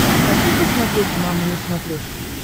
хочу посмотреть мама на смотрешке